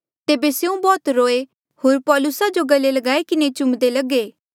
तेबे स्यों बौह्त रोये होर पौलुसा जो गले लगाई किन्हें चुम्दे लगे